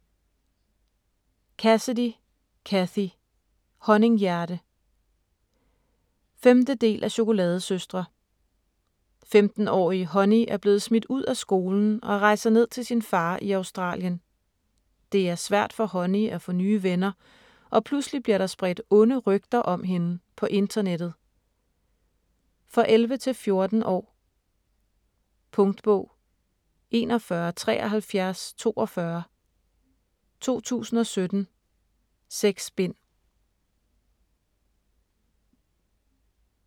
Cassidy, Cathy: Honninghjerte 5. del af Chokoladesøstre. 15-årige Honey er blevet smidt ud af skolen og rejser ned til sin far i Australien. Det er svært for Honey at få nye venner og pludselig bliver der spredt onde rygter om hende på internettet. For 11-14 år. Punktbog 417342 2017. 6 bind.